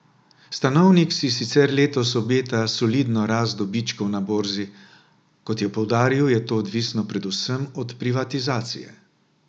Stanovnik si sicer letos obeta solidno rast dobičkov na borzi, a, kot je poudaril, je to odvisno predvsem od privatizacije.